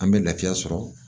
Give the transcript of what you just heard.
An bɛ lafiya sɔrɔ